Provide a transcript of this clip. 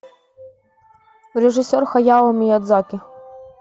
режиссер хаяо миядзаки